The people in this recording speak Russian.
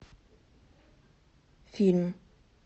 фильм